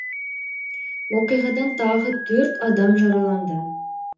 оқиғадан тағы төрт адам жараланды